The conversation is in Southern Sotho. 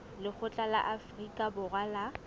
lekgotla la afrika borwa la